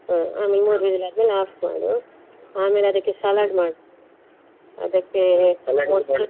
ಹ್ಮ್ ಆಮೇಲೆ ಮೂರು whistle ಆದ್ಮೇಲೆ off ಮಾಡು, ಆಮೇಲೆ ಅದಕ್ಕೆ salad ಮಾಡು ಅದಕ್ಕೆ